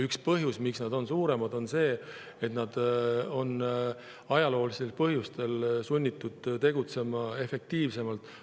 Üks põhjus, miks nad on suuremad, on see, et nad on ajaloolistel põhjustel olnud sunnitud tegutsema efektiivsemalt.